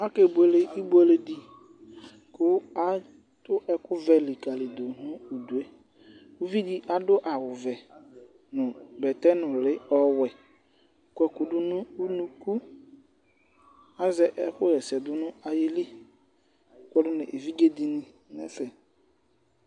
Aka ebuele ibuele di, k'atu ɛku vɛ likalidù nu udue, uvi di adu awù vɛ nu bɛtɛ nùli ɔwɛ, kɔ ɛku du n'unuku, azɛ ɛkuhɛsɛ dunu ayili kpɔdu nu evidze dini n'ɛfɛ